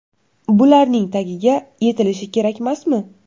Bularning tagiga yetilishi kerakmasmi?